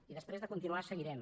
i després de continuar seguirem